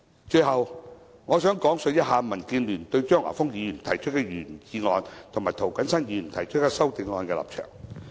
最後，我想講述民建聯對張華峰議員提出的原議案，以及涂謹申議員提出修正案的立場。